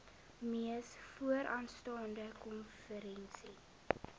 mees vooraanstaande konferensie